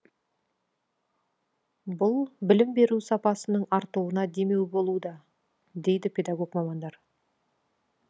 бұл білім беру сапасының артуына демеу болуда дейді педагог мамандар